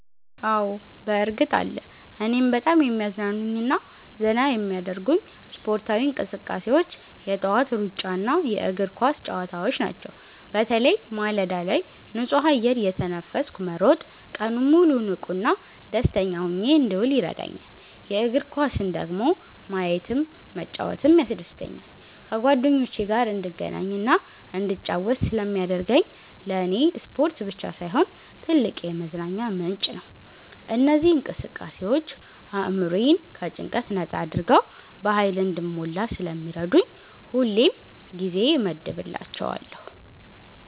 አዎ፣ በእርግጥ አለ! እኔን በጣም የሚያዝናኑኝና ዘና የሚያደርጉኝ ስፖርታዊ እንቅስቃሴዎች የጠዋት ሩጫና የእግር ኳስ ጨዋታዎች ናቸው። በተለይ ማለዳ ላይ ንጹህ አየር እየተነፈስኩ መሮጥ ቀኑን ሙሉ ንቁና ደስተኛ ሆኜ እንድውል ይረዳኛል። የእግር ኳስን ደግሞ ማየትም መጫወትም ያስደስተኛል። ከጓደኞቼ ጋር እንድገናኝና እንድጫወት ስለሚያደርገኝ ለኔ ስፖርት ብቻ ሳይሆን ትልቅ የመዝናኛ ምንጭ ነው። እነዚህ እንቅስቃሴዎች አእምሮዬን ከጭንቀት ነጻ አድርገው በሃይል እንድሞላ ስለሚረዱኝ ሁሌም ጊዜ እመድብላቸዋለሁ።